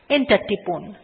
enter টিপুন